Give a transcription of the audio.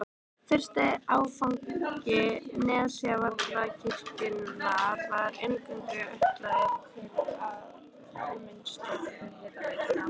Fyrsti áfangi Nesjavallavirkjunar var eingöngu ætlaður til varmavinnslu fyrir hitaveituna.